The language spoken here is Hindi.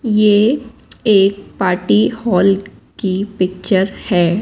ये एक पार्टी हॉल की पिक्चर है।